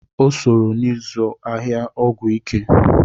O sooro n'izụ ahịa ọgwụ ike.